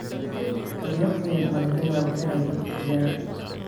Qorya qoyan malakayabo inay daab kiciyan.